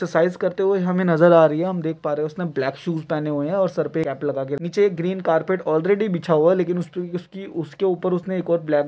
exercise करते हुए हमें नजर आ रही है हम देख पा रहे है उसने ब्लैक शूज पहने हुए है और सर पे कैप लगाके नीचे एक ग्रीन कारपेट ऑलरेडी बिछा हुआ लेकिन उसपे उसकी उसके ऊपर उसने एक और ब्लैक --